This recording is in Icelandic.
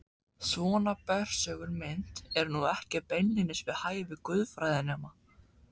Svona bersögul mynd er nú ekki beinlínis við hæfi guðfræðinema.